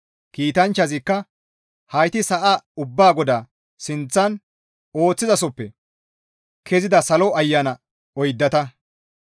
Kiitanchchazikka, «Hayti sa7a ubbaa Goda sinththan ooththizasoppe kezida salo ayana oyddata.